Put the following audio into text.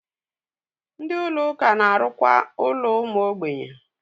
Ndị Ụlọ ụka na-arụkwa ụlọ ụmụ ogbenye.